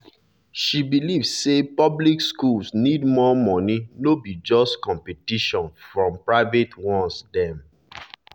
she believe say public schools need more money no be just competition from private ones dem